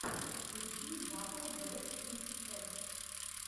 включи батл бэст кидс эппс